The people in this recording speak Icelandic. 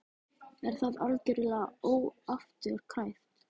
Er það algjörlega óafturkræft?